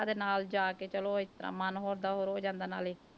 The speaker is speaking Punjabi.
ਦੇ ਨਾਲ ਜਾ ਕੇ ਚਲੋ ਇਸ ਤਰ੍ਹਾਂ ਮਨ ਹੋਰ ਦਾ ਹੋਰ ਜਾਂਦਾ ਨਾਲੇ।